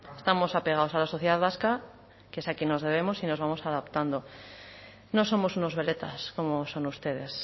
estamos apegados a la sociedad vasca que es a quien nos debemos y nos vamos adaptando no somos unos veletas como son ustedes